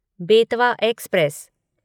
Betwa express